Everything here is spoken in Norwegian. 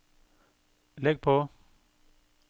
legg på